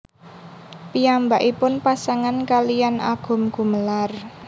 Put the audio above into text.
Piyambakipun pasangan kaliyan Agum Gumelar